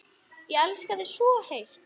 Ég elska þig svo heitt.